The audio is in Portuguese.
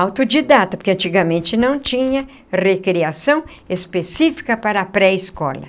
autodidata, porque antigamente não tinha recreação específica para a pré-escola.